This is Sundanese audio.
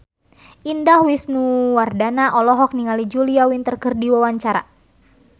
Indah Wisnuwardana olohok ningali Julia Winter keur diwawancara